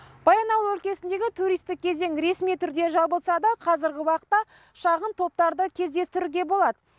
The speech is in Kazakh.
баянауыл өлкесіндегі туристік кезең ресми түрде жабылса да қазіргі уақытта шағын топтарды кездестіруге болады